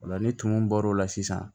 O la ni tumu bɔr'o la sisan